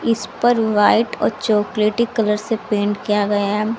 इस पर व्हाइट और चॉकलेटी कलर से पेंट किया गया है।